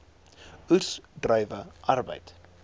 oes druiwe arbeid